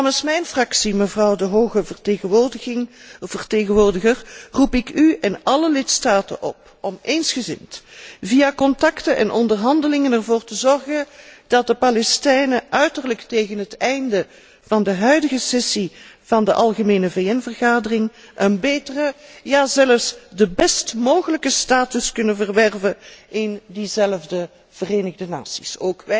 Namens mijn fractie, mevrouw de hoge vertegenwoordiger, roep ik u en alle lidstaten op om eensgezind via contacten en onderhandelingen ervoor te zorgen dat de Palestijnen uiterlijk tegen het einde van de huidige sessie van de Algemene Vergadering van de VN een betere, ja zelfs de best mogelijke status kunnen verwerven in diezelfde Verenigde Naties.